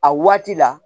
A waati la